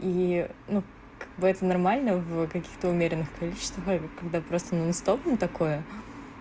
и ну когда это нормально в каких-то умеренных количествах когда просто нон-стоп ну такое